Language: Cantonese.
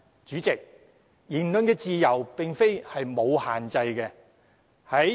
主席，言論自由並非沒有限制的。